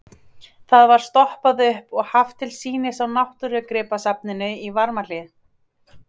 Það var stoppað upp og haft til sýnis á Náttúrugripasafninu í Varmahlíð.